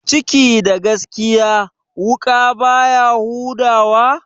Ciki da gaskiya, wuƙa baya huda wa?